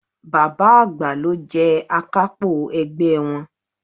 Bàbá àgbà ló jẹ Akápò ẹgbẹ́ wọn